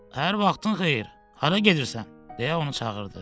Hər vaxtın xeyir, hara gedirsən, deyə onu çağırdı.